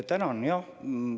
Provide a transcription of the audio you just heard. Tänan!